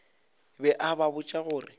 be a ba botša gore